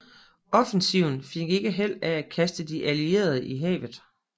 Offensiven fik ikke held af at kaste de Allierede i havet